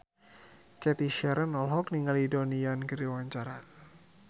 Cathy Sharon olohok ningali Donnie Yan keur diwawancara